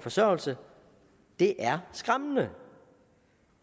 forsørgelse det er skræmmende